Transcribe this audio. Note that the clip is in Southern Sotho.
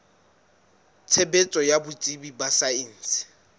tshebetso ya botsebi ba saense